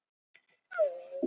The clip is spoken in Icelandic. Voru þingmenn sofandi